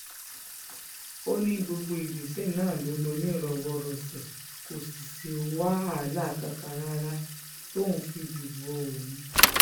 ó ní gbogbo ìgbésẹ̀ náà ló lọ nírọwọ́rọsẹ̀ kò sì sí wàhálà kankan rárá tóun fi dìbò òun